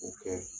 O kɛ